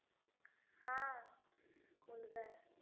हा, मुलगा आहे.